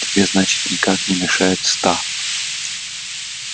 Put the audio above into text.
тебе значит никак не меньше ста